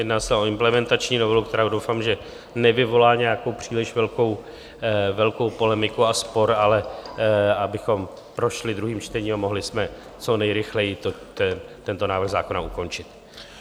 Jedná se o implementační novelu, která doufám, že nevyvolá nějakou příliš velkou polemiku a spor, ale abychom prošli druhým čtením a mohli jsme co nejrychleji tento návrh zákona ukončit.